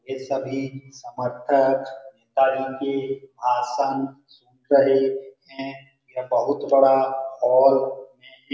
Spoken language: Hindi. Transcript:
ये सभी समर्थक आसन करे हैं ये बहुत बड़ा हॉल --